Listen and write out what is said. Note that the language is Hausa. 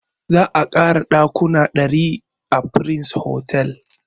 Za a ƙara ɗakuna ɗari a prince hotel